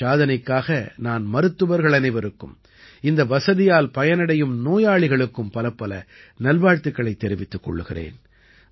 இந்தச் சாதனைக்காக நான் மருத்துவர்கள் அனைவருக்கும் இந்த வசதியால் பயனடையும் நோயாளிகளுக்கும் பலப்பல நல்வாழ்த்துக்களைத் தெரிவித்துக் கொள்கிறேன்